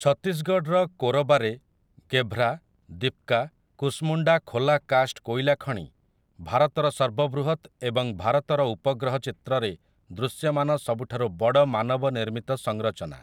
ଛତିଶଗଡ଼ର କୋରବାରେ କେଭ୍ରା, ଦିପକା, କୁସମୁଣ୍ଡା ଖୋଲା କାଷ୍ଟ କୋଇଲା ଖଣି ଭାରତର ସର୍ବବୃହତ ଏବଂ ଭାରତର ଉପଗ୍ରହ ଚିତ୍ରରେ ଦୃଶ୍ୟମାନ ସବୁଠାରୁ ବଡ ମାନବ ନିର୍ମିତ ସଂରଚନା ।